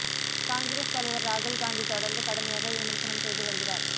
காங்கிரஸ் தலைவர் ராகுல் காந்தி தொடர்ந்து கடுமையாக விமர்சனம் செய்து வருகிறார்